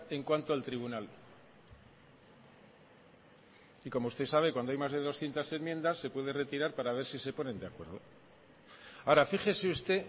en cuanto al tribunal y como usted sabe cuando hay más de doscientos enmiendas se puede retirar para ver si se ponen de acuerdo ahora fíjese usted